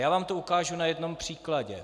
Já vám to ukážu na jednom příkladě.